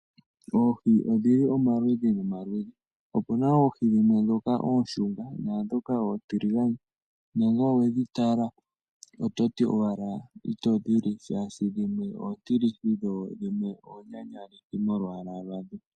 Oohi odhili omaludhi nomaludhi opuna oohi dhimwe dhoka ooshunga naadhoka oontiligane, na ngele owe dhi tala oto ti owala ito dhi li shaashi dhimwe oontilithi dho dhimwe oonyanyalithi molwaala lwadho.